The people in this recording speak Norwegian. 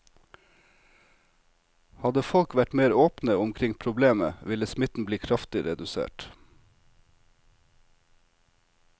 Hadde folk vært mer åpne omkring problemet ville smitten bli kraftig redusert.